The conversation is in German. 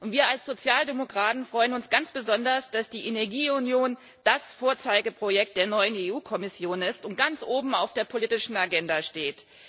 Wir als Sozialdemokraten freuen uns ganz besonders, dass die Energieunion das Vorzeigeprojekt der EU Kommission ist und ganz oben auf der politischen Agenda steht.